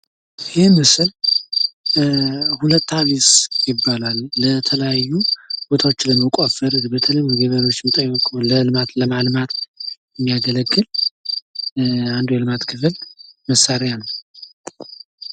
ምስሉ ላይ ሁለት አልባስ ይባላል። የተለያዩ ቦታዎችን ለመቆፈር ፣ልማት ለማልማት የሚያገለግል መሳሪያ ነው ።